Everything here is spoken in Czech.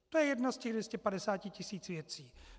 To je jedna z těch 250 tisíc věcí.